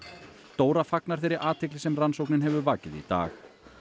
Dóra fagnar þeirri athygli sem rannsóknin hefur vakið í dag